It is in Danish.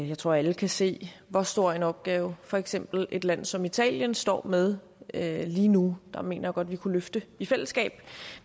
jeg tror alle kan se hvor stor en opgave for eksempel et land som italien står med lige nu der mener jeg godt vi kunne løfte i fællesskab